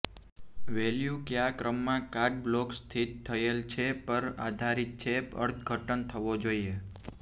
value કયા ક્રમમાં card block સ્થિત થયેલ છે પર આધારિત છે અર્થઘટન થવો જોઇએ